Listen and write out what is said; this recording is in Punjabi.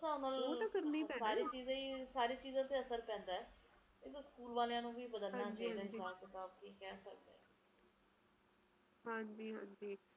ਹਾਂਜੀ ਹਾਂਜੀ ਹੋਰ ਸੁਣਾਓ ਰੁਚੀ ਹੋਰ ਤੁਸੀਂ ਬਣਾਇਆ ਨੀ ਕੋਈ ਪ੍ਰੋਗਰਾਮ ਆਣਦਾ ਤੁਸੀ ਕਹਿ ਰਹੇ ਸੀਗੇ ਛੁੱਟੀਆਂ ਪੈਣਗਈਆ ਬੱਚਿਆਂ ਨੂੰ